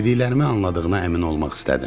Dediklərimi anladığına əmin olmaq istədim.